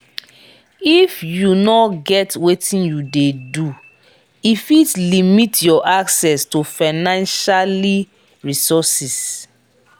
if you no get wetin you de do e fit limit your access to financialy resources